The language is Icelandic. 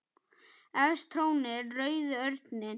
Efst trónir rauði örninn.